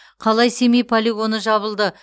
қалай семей полигоны жабылды